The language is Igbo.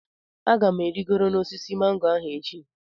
Aga m arịgoro n'osisi mango ahụ echi.